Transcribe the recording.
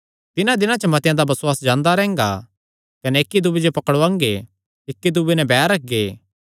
तिन्हां दिनां च मतेआं दा बसुआस जांदा रैंह्गा कने इक्की दूये जो पकड़ुआंगे इक्की दूये नैं बैर रखगे